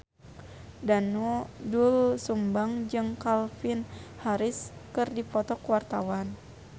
Doel Sumbang jeung Calvin Harris keur dipoto ku wartawan